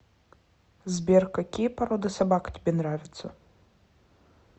сбер какие породы собак тебе нравятся